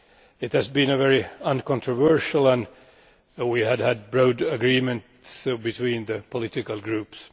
It has been very uncontroversial and we had broad agreement between the political groups.